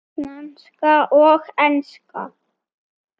Franska og enska.